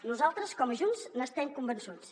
nosaltres com a junts n’estem convençuts